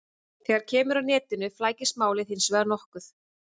Þegar kemur að netinu flækist málið hins vegar nokkuð.